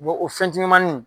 o fɛn timimanin